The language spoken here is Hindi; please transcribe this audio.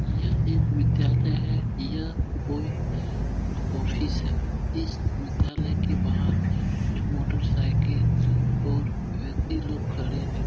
यह एक विद्यालय है। यह कोई ऑफिस है। इस विद्यालय के बाहर कुछ मोटर साइकिल और व्यक्ति लोग खड़े है।